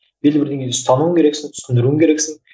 белгілі бірдеңені ұстануың керексің түсіндіруің керексің